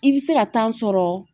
I bɛ se ka sɔrɔ